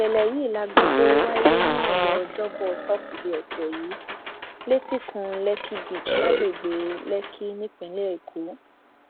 ìṣẹlẹ yìí la gbọ pé ó wáyé nírọlẹ ọjọbọ tọsídẹẹ ọsẹ yìí létíkun lekí beach lágbègbè lèkì nípínlẹ èkó